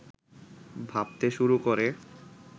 ভাবতে শুরু করে